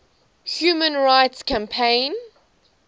human rights campaign